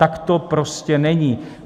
Tak to prostě není.